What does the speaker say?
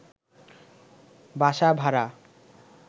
বাসা ভাড়া